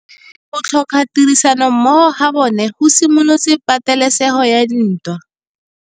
Go tlhoka tirsanommogo ga bone go simolotse patêlêsêgô ya ntwa.